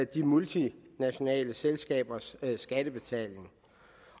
de multinationale selskabers skattebetaling